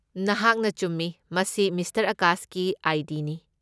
ꯅꯍꯥꯛꯅ ꯆꯨꯝꯃꯤ, ꯃꯁꯤ ꯃꯤꯁꯇꯔ ꯑꯥꯀꯥꯁꯀꯤ ꯑꯥꯏ. ꯗꯤ. ꯅꯤ꯫